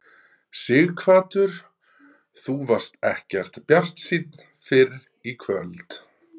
Sighvatur: Þú varst ekkert bjartsýnn fyrr í kvöld?